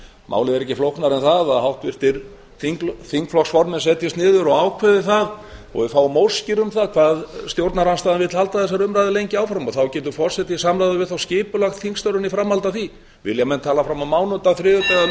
málið er ekki flóknara en það að háttvirtir þingflokksformenn setjist niður og ákveði það og við fáum óskir um það hvað stjórnarandstaðan vill halda þessari umræðu lengi áfram þá getur forseti í samráði við þá skipulagt þingstörfin í framhaldi af því vilja menn tala fram á mánudag þriðjudag eða miðvikudag